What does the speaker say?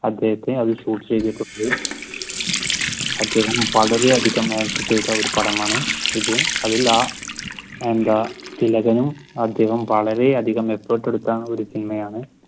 അദ്ദേഹത്തെ അദ്ദേഹം വളരെയധികം ആക്ട് ചെയ്ത ഒരു പടമാണ് ഇത് അതിൽ. എന്താ തിലകനും അദ്ദേഹം വളരെ അധികം effort എടുത്ത ഒരു സിനിമയാണ്